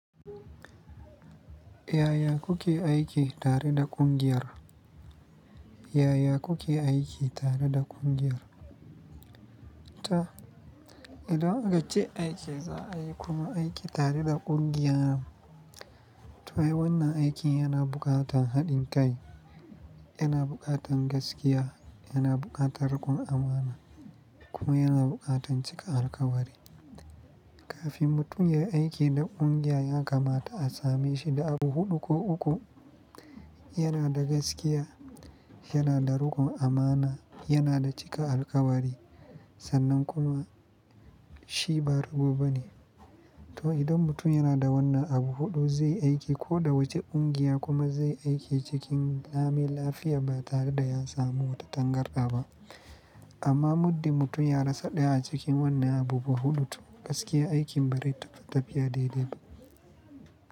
Yaya kuke aiki tare da kungiyar? Yaya kuke aiki tare da kungiyar? Ta, idan aka ce aiki za a yi kuma aiki tare da kungiya, to wai wannan aikin yana buƙatar haɗin kai, yana buƙatar gaskiya, yana buƙatar riƙon amana kuma yana buƙatar cika alkawari. Kafin mutum ya aiki da kungiya, ya kamata a same shi da abu huɗu ko uku. Yana da gaskiya, yana da riƙon amana, yana da cika alkawari sannan kuma shi ba rago bane. To idan mutum yana da wannan abu huɗu, zai aiki ko da wace kungiya kuma zai aiki cikin lami lafiya ba tare da ya samu wata tangarɗa ba. Amma muddin mutum ya rasa ɗaya a cikin wannan abubuwa huɗu, to gaskiya aikin bai rai taba tafiya daidai ba.